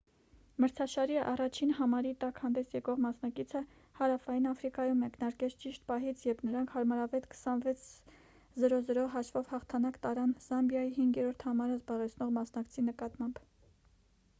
մրցաշարի առաջին համարի տակ հանդես եկող մասնակիցը հարավային աֆրիկայում մեկնարկեց ճիշտ պահից երբ նրանք հարմարավետ 26-00 հաշվով հաղթանակ տարան զամբիայի 5-րդ համարը զբաղեցնող մասնակցի նկատմամբ